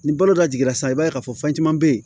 Ni balo dɔ jiginna sisan i b'a ye k'a fɔ fɛn caman be yen